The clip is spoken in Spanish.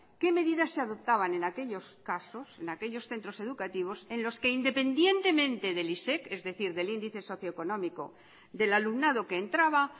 qué medidas se adoptaban en aquellos casos en aquellos centros educativos en lo que independientemente del isec es decir del índice socioeconómico del alumnado que entraba